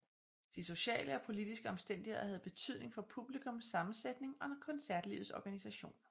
De sociale og politiske omstændigheder havde betydning for publikums sammensætning og koncertlivets organisation